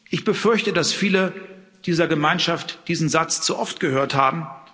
Ich befürchte, dass viele dieser Gemeinschaft diesen Satz zu oft gehört haben.